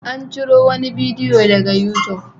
An ciro wani bidiyo daga youtube.